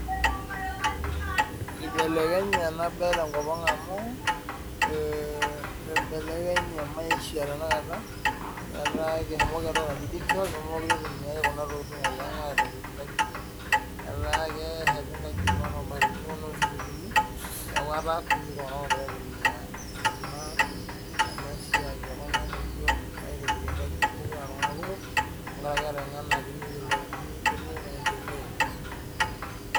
Eibelekenye ena mbae tenkop amu eibelekenye maisha tanakata etaa eshomoki entoki najii digital nemekure eitumiai Kuna tokitin oleng etaa kesheti nkajijik oo mabatini oo noo simitini neeku etaa kunyik iltung'ana ogira aitumia ena siai ekuna modioo aitobiraki nkajijik mekure aa iltung'ana kumok tenkaraki etengenaki netumie maendeleo